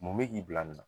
Mun bɛ k'i bila nin na